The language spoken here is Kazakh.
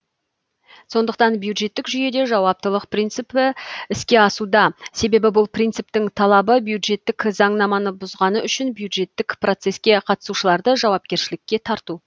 сондықтан бюджеттік жүйеде жауаптылық принцип іске асуда себебі бұл принциптің талабы бюджеттік заңнаманы бұзғаны үшін бюджеттік процеске қатысушыларды жауапкершілікке тарту